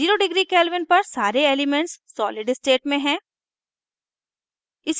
zero degree kelvin पर सारे elements solid state में हैं